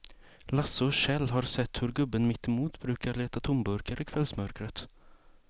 Lasse och Kjell har sett hur gubben mittemot brukar leta tomburkar i kvällsmörkret.